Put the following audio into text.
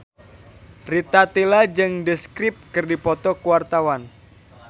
Rita Tila jeung The Script keur dipoto ku wartawan